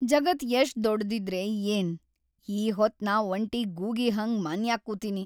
ಜಗತ್‌ ಎಷ್ಟ್ ದೊಡ್ಡ್‌ದಿದ್ರೆ ಏನ್‌ ಈ ಹೊತ್‌ ನಾ ವಂಟಿ ಗೂಗಿ ಹಂಗ್ ಮನ್ಯಾಗ್‌ ಕೂತಿನಿ.